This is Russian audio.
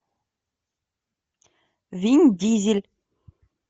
вин дизель